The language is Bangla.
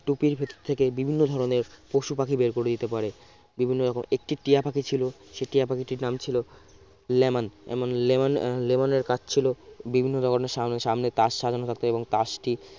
টুপির ভিতর থেকে বিভিন্ন ধরনের পশু পাখি বের করে দিতে পারে বিভিন্ন রকম একটি টিয়া পাখি ছিল সে টিয়া পাখিটির নাম ছিল লেমন এমন লেম~ লেমনের কাজ ছিল বিভিন্ন ধরনের সাম~ সামনে সামনে তাস সাজানো থাকতো এবং তাসটি